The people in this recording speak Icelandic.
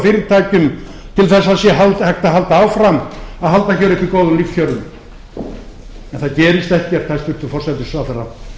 fyrirtækjum til þess að það sé hægt að halda áfram að halda hér uppi góðum lífskjörum en það gerist ekkert hæstvirtur forsætisráðherra